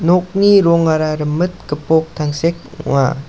nokni rongara rimit gipok tangsek ong·a.